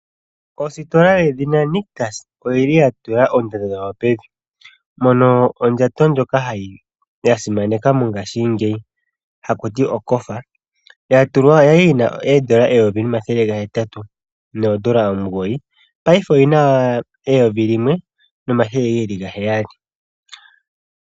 Ositola yedhina Nictus oyili ya tula oondando dhawo pevi, mono ondjato ndjoka yasimanekwa mongashingeyi hakuti okofa yali yina oondola 1809 paife oyina 1700.